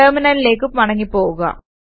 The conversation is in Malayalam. ടെർമിനലിലേക്ക് മടങ്ങി പോകുക